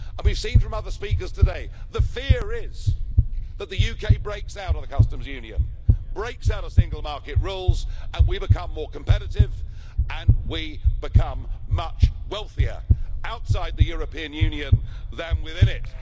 We've heard from other speakers today that the fear is that the UK breaks out of the Customs Union, breaks out of single market rules and that we become more competitive and we become much wealthier outside the European Union than within it.